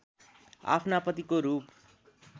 आफ्ना पतिको रूप